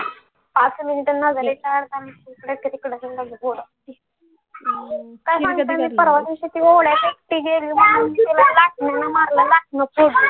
पाच minute नजरे परवा दिवशी पण ती गेली म्हणून तिला लाटण्यान मारलं